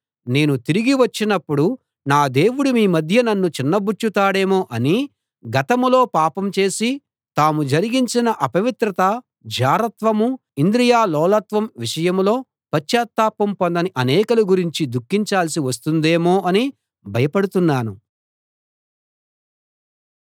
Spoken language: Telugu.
నేను తిరిగి వచ్చినప్పుడు నా దేవుడు మీ మధ్య నన్ను చిన్నబుచ్చుతాడేమో అనీ గతంలో పాపం చేసి తాము జరిగించిన అపవిత్రత జారత్వం ఇంద్రియలోలత్వం విషయంలో పశ్చాత్తాపం పొందని అనేకుల గురించి దుఖించాల్సి వస్తుందేమో అనీ భయపడుతున్నాను